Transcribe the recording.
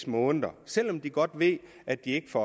måneder selv om de godt ved at de ikke